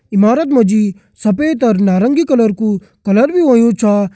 इमारत मा जी सफ़ेद और नारंगी कलर कू कलर भी होयुं छ।